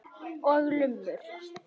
Og lummur.